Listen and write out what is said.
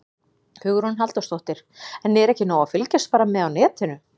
Hugrún Halldórsdóttir: En er ekki nóg að fylgjast bara með á netinu?